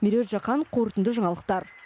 меруерт жақан қорытынды жаңалықтар